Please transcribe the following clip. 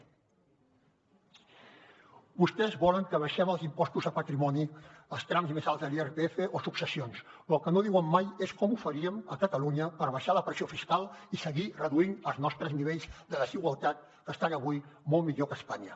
vostès volen que abaixem els impostos de patrimoni als trams més alts de l’irpf o successions però el que no diuen mai és com ho faríem a catalunya per abaixar la pressió fiscal i seguir reduint els nostres nivells de desigualtat que estan avui molt millor que a espanya